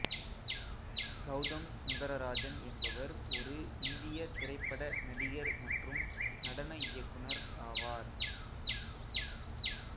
கௌதம் சுந்தரராஜன் என்பவர் ஒரு இந்திய திரைப்பட நடிகர் மற்றும் நடன இயக்குனர் ஆவார்